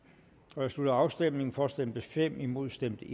jeg slutter afstemningen for stemte fem imod stemte